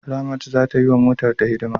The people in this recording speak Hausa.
Ramat za ta yi wa motarta hidima.